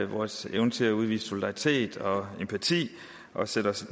vores evne til at udvise solidaritet og empati og sætte os i